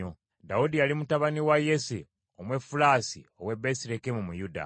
Dawudi yali mutabani wa Yese Omwefulasi ow’e Besirekemu mu Yuda.